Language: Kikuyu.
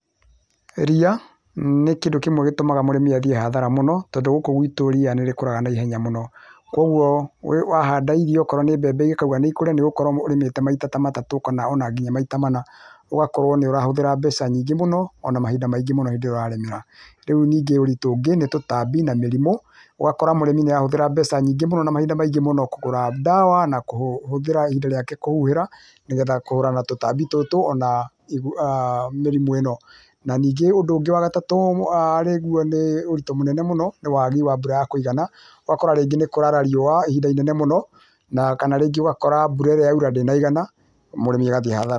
Ria nĩ kĩndũ kĩmwe gĩtũmaga mũrĩmi athiĩ hathara mũno, tondũ gũkũ gwitũ ria nĩrĩkũraga na ihenya mũno kwogua wahanda irio wakorwo nĩ mbembe ũngĩkauga nĩ kũrĩa nĩ gũkorwo nĩ arĩmĩte maita matatu ona nginya maita mana ũgakorwo nĩũratũmĩra mbeca nyingĩ mũno ona mahinda maingĩ mũno hĩndĩ ĩrĩa ũramĩra, rĩũ ningĩ ũritũ ũngĩ tutambi na mĩrimũ ũgakoro mũrĩmĩ nĩahũthĩra mbeca nyingĩ mũno na mahinda maingĩ mũno kũgũra ndawa na kũhũthĩra ihinda rĩake kũhuhĩra nĩgetha kũhũrana na tũtambi tũtũ[uuhh]ona mĩrimũ ĩno ona ũndũ ũngĩ wa gatatũ ũritũ mũno nĩ wagi wa mbura ya kúũgana, ũgakora rĩngĩ nĩkwara riũa ihinda ĩnene mũno kana rĩngĩ ũkona mbura ĩrĩa yaũra ndĩnaigana mũrĩmi agathiĩ hathara .